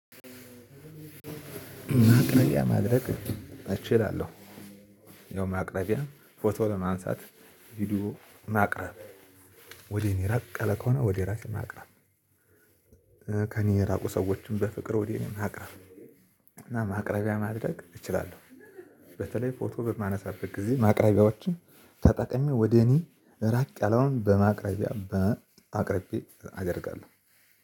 ማቅረቢያ ማድረግ እችላለሁ። ያው ማቅረቢያ ፎቶ ለማንሳት ቪዲዮ ማቅረብ ወደ እኔ ራቅ ያለ ከሆነ ወደ ራሴን ማቅርብ። ከኔ የራቁ ሰዎችን በፍቅር ወደ እኔ ማቅረብ እና ማቅረቢያ ማድረግ እችላለሁ። በተለይ ፎቶ በማነሳበት ጊዜ ማቅረቢያዎችን ተጠቅሜ ወደ እኔ ራቅ ያለውን በማቅረቢያ በአቅርቤ አደርጋለሁ።